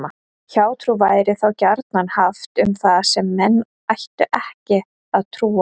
Hjátrú væri þá gjarnan haft um það sem menn ættu ekki að trúa.